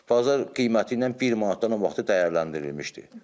Bazar qiyməti ilə bir manatdan artıq dəyərləndirilmişdir.